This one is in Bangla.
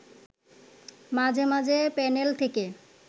মাঝে মাঝে প্যানেল থেকে